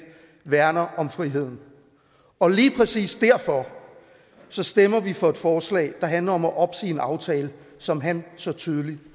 værner om friheden og lige præcis derfor stemmer vi for et forslag der handler om at opsige en aftale som han så tydeligt